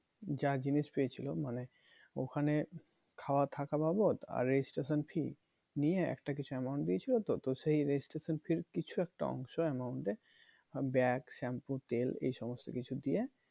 যা জিনিস পেয়েছিলো মানে ওখানে খাওয়া থাকা বাবদ আর registration fee নিয়ে একটা কিছু amount দিয়েছিলো তো তো সেই registration fee র কিছু একটা অংশ amount এর bag shampoo তেল এই সমস্ত কিছু দিয়ে